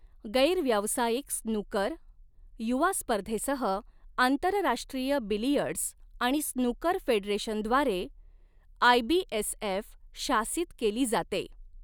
गैर व्यावसायिक स्नूकर युवा स्पर्धेसह आंतरराष्ट्रीय बिलियर्ड्स आणि स्नूकर फेडरेशनद्वारे आयबीएसएफ शासित केली जाते.